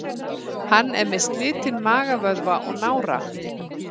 Hann er með slitinn magavöðva og nára.